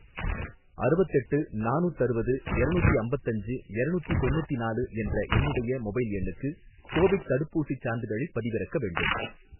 அறுவத்தெட்டு நானூத்தறுவது எரநூத்தி அம்பத்தஞ்சு எரநூத்தி தொண்ணுத்தினாலு என்ற என்னுடைய மொபைல் எண்ணுக்கு கோவிட் தடுப்பூசிச் சான்றிதழைப் பதிவிறக்க வேண்டும்